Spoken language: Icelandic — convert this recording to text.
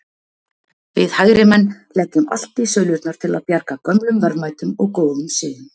Við hægrimenn leggjum allt í sölurnar til að bjarga gömlum verðmætum og góðum siðum.